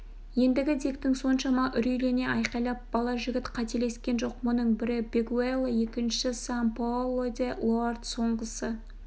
енді диктің соншама үрейлене айқайлап бала жігіт қателескен жоқ мұның бірі бенгуэлла екіншісі сан-паоло де-лоанд соңғысы